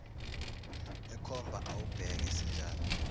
ekhomba awubheke sinjani